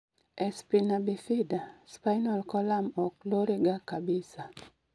e spina bifida, spinal colum ok lore ga kabisa